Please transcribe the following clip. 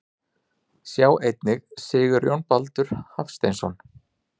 Sjá einnig Sigurjón Baldur Hafsteinsson.